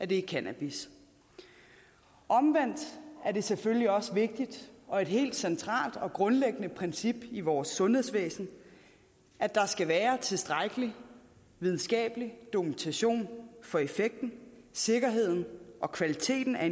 det er cannabis omvendt er det selvfølgelig også vigtigt og et helt centralt og grundlæggende princip i vores sundhedsvæsen at der skal være tilstrækkelig videnskabelig dokumentation for effekten sikkerheden og kvaliteten af